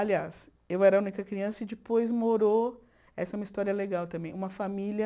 Aliás, eu era a única criança e depois morou, essa é uma história legal também, uma família...